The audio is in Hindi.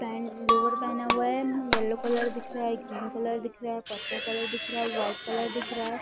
पेंट लोवर पहना हुआ हैं येल्लो कलर दिख रहा हैं एक ब्लू कलर दिख रहा है और पर्पल कलर दिख रहा हैं वाइट कलर दिख रहा हैं।